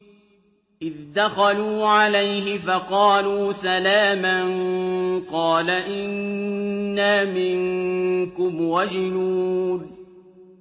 إِذْ دَخَلُوا عَلَيْهِ فَقَالُوا سَلَامًا قَالَ إِنَّا مِنكُمْ وَجِلُونَ